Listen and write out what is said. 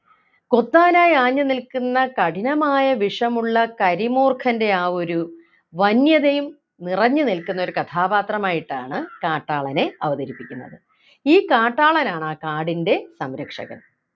കൊത്താനായി ആഞ്ഞു നിൽക്കുന്ന കഠിനമായ വിഷമുള്ള കരിമൂർഖൻ്റെ ആ ഒരു വന്യതയും നിറഞ്ഞു നിൽക്കുന്ന ഒരു കഥാപാത്രമായിട്ടാണ് കാട്ടാളനെ അവതരിപ്പിക്കുന്നത് ഈ കാട്ടാളനാണ് ആ കാടിൻ്റെ സംരക്ഷകൻ